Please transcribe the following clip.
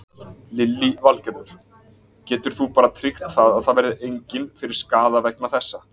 Lillý Valgerður: Getur þú bara tryggt það að það verði engin fyrir skaða vegna þessa?